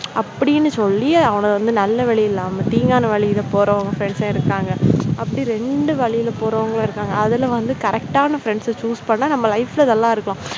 அப்படின்னு சொல்லி அவனை வந்து நல்ல வழியில் இல்லாம தீங்கான வழியில் போறாங்க friends சும் இருக்காங்க அப்படி ரெண்டு வழியில போறவங்களும் இருப்பாங்க அதுல வந்து correct டான friends choose பண்ணா நம்ம life நல்லா இருக்கும்.